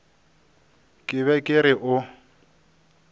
ke be ke re o